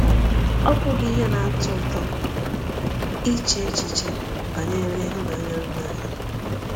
Ọ̀ bụghị ihe na-atọ ụtọ iche echiche banyere ịhụnanya nna anyị?